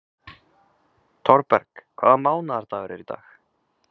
Thorberg, hvaða mánaðardagur er í dag?